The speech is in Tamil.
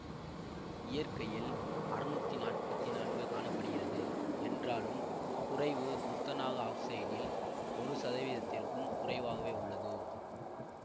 இயற்கையில் அறுநூத்தி நாற்பத்தி நான்கு காண படுகிறது என்றாலும் குறைவு துத்தநாக ஆக்சைடில் ஒரு சதவீதத்திற்கும் குறைவாகவே உள்ளது